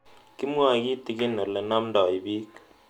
Kimwae kitig'in ole namdoi piik